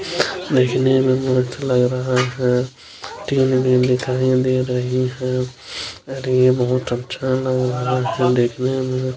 अरे ये बहुत अच्छा लग रहा है दिखने मे बहुत अच्छा रहा है टीन भी दिखाई दे रही है।